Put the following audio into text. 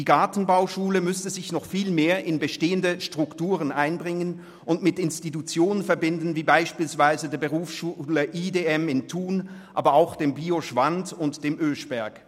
Die Gartenbauschule müsste sich noch viel mehr in bestehende Strukturen einbringen und mit Institutionen verbinden, wie beispielsweise mit der Berufsschule IDM in Thun, aber auch der Bio Schwand AG und der Gartenbauschule Oeschberg.